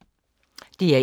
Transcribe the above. DR1